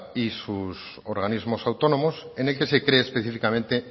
y sus organismos autónomos en el que se cree específicamente